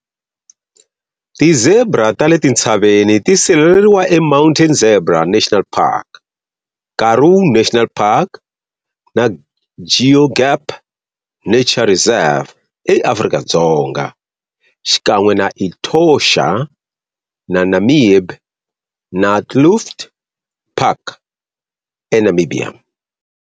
Ti zebra ta le tintshaveni ti sirheleriwa e Mountain Zebra National Park, Karoo National Park na Goegap Nature Reserve eAfrika-Dzonga xikan'we na Etosha na Namib-Naukluft Park e Namibia.